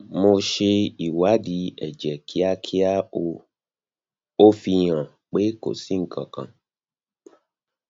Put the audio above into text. mo ṣe ìwádìí ẹjẹ kíákia ó fi hàn pé kó sì nkankan